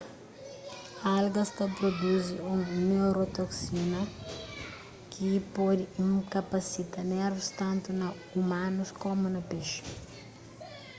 algas ta pruduzi un neurotoksina ki pode inkapasita nervus tantu na umanus komu na pexi